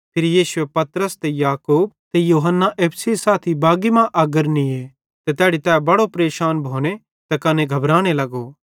फिरी यीशुए पतरस ते याकूब ते यूहन्ना एप्पू सेइं साथी बागी मां अग्गर निये ते तैड़ी तै बड़े परेशान भोने ते कने घबराने लगो